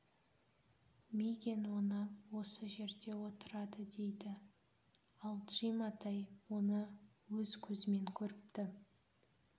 мигэн оны осы жерде отырады дейді ал джим атай оны өз көзімен көріпті